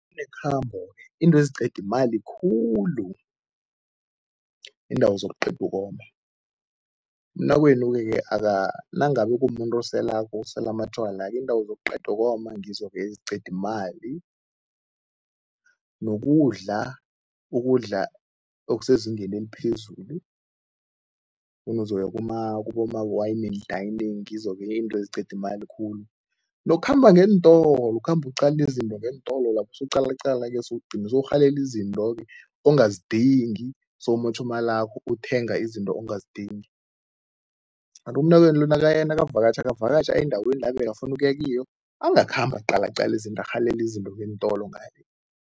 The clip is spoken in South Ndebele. Nekhambo into eziqeda imali khulu, iindawo zokuqeda ukoma. Umnakwenu-ke nangabe kumuntu oselako, osela amatjwala-ke, iindawo zokuqeda ukoma ngizo-ke eziqeda imali nokudla. Ukudla okusezingeni eliphezulu kuboma-wine and dining ngizok-ke izinto eziqeda imali khulu nokukhamba ngeentolo, ukhamba uqala izinto ngeentolo lapha, usuqalaqala bese ugcina sewurhalela izinto-ke ongazidingi, sewumotjha imalakho, uthenga izinto ongazidingi. Kanti umnakwenu lo nakavakatjha, akavakatjhe aye endaweni la bekafuna ukuya kiyo, angakhambi aqalaqala izinto, arhalela izinto ngeentolo ngale.